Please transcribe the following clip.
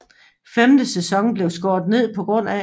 Femte sæson blev skåret ned pga